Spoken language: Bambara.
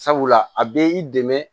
Sabula a bɛ i dɛmɛ